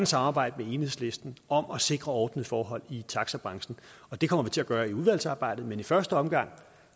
samarbejde med enhedslisten om at sikre ordnede forhold i taxabranchen og det kommer vi til at gøre i udvalgsarbejdet men i første omgang